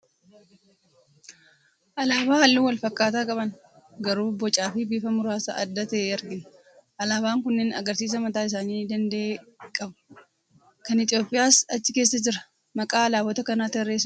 Alaabaa halluu wal fakkaataa qaban garuu bocaa fi bifa muraasa adda ta'e argina. Alaabaan kunneen agarsiisa mataa isaanii danda'e qabu. Kan Itoophiyaas achi keessa jira. Maqaa alaabota kanaa tarreessuu ni dandeessaa?